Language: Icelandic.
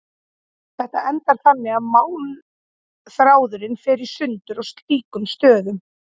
Þetta endar þannig að málmþráðurinn fer í sundur á slíkum stöðum.